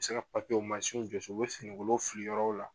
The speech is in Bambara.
U bɛ se ka ansinw jɔsi u bɛ fininkolonw fili yɔrɔw la